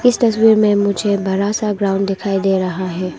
इस तस्वीर में मुझे बड़ा सा ग्राउंड दिखाई दे रहा है।